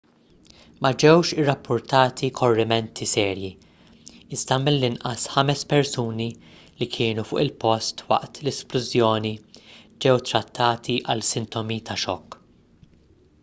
ma ġewx irrappurtati korrimenti serji iżda mill-inqas ħames persuni li kienu fuq il-post waqt l-isplużjoni ġew trattati għal sintomi ta' xokk